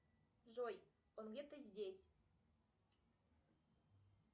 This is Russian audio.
джой он где то здесь